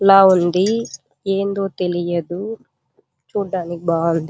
ల ఉంది ఏందో తెలియదు చుడానికి బాగుంది.